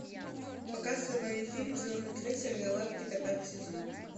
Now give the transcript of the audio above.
показывай фильм звездный крейсер галактика пятый сезон